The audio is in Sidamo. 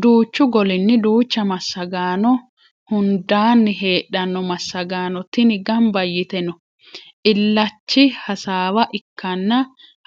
Duuchu golinni duucha massago hundaani heedhano massagaano tini gamba yite no illachi hasaawa ikkanna